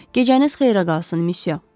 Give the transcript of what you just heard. Gecəniz xeyrə qalsın, müsyö.